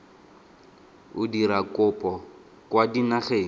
o dira kopo kwa dinageng